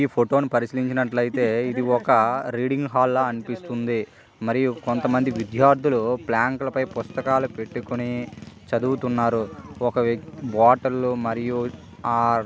ఈ ఫోటో ని పరిశీలిగ్నట్లయితే ఇదొక రీడింగ్ హాల్ లా అనిపిస్తుంది. మరియు కొంతమంది విద్యార్థులు ప్లాంక్ ల పై పుస్తకాలు పెట్టుకొని చదువుతున్నారు ఒక బాటలు మరియు ఆ --